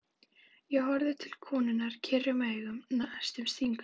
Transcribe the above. Ég horfði til konunnar kyrrum augum, næstum stingandi.